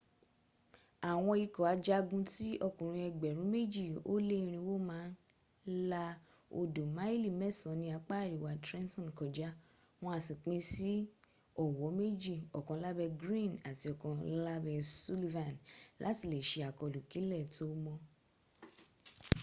àwọn ikọ̀ ajagun tí okùnrin ẹgbẹ̀rún méjì ó lé irinwó máa la odò máìlì mẹ́san ní apá àríwá trenton kọjá wọ́n á sì pín sí ọ̀wọ̣́ méjì; ọ̀kan lábę greene àti ọ̀kan láẹ́ sullivan láti lè se àkọlù kílẹ̀ tó mọ́